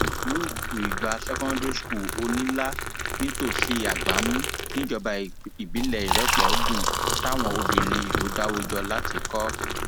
luke lgbá secondary school onílà nítòsí àgbámù níjọba ìbílẹ ìrépọdùn táwọn obìnrin ìlú dáwọ jọ láti kọ